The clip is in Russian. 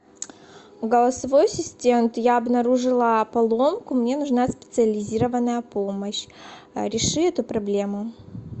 голосовой ассистент я обнаружила поломку мне нужна специализированная помощь реши эту проблему